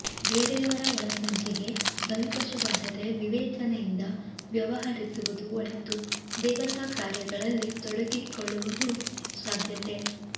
ಬೇರೆಯವರ ಒಳಸಂಚಿಗೆ ಬಲಿಪಶುವಾಗದೇ ವಿವೇಚನೆಯಿಂದ ವ್ಯವಹರಿಸುವುದು ಒಳಿತು ದೇವತಾ ಕಾರ್ಯಗಳಲ್ಲಿ ತೊಡಗಿಕೊಳ್ಳುವ ಸಾಧ್ಯತೆ